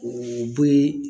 U bo ye